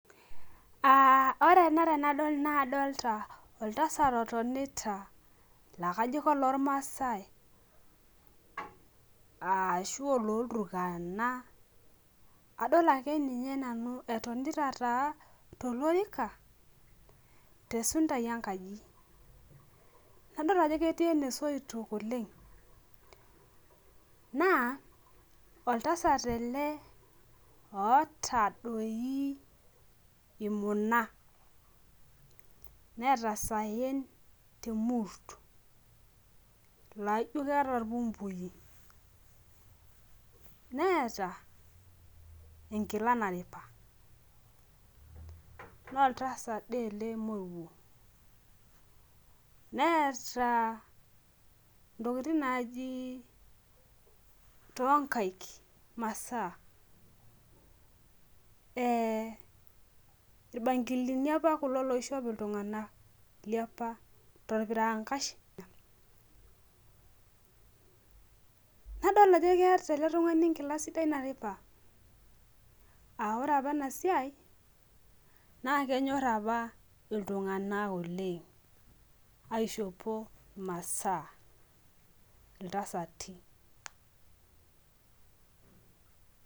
Aa ore ena tanadol nakadolta oltasat otonita akajobolormaasai ashu ololturakana adolta etonta tolorika tesuntai enkaji nadol ajo ketii enebsoitok oleng naoltasat ele oota tpi imunabneeta isaen temurs laijo keeta irpumbui neeta enkila naripa na oltasat ele moruobneeta ntokitin naji tonkaik irmasaa irbamgilini apa oishop ltunganak torpirankash nadom ajo keeta eletungani enkila sidai naripa aa ore apa enasia kenyor apa ltunganak aishopo masaa iltasati .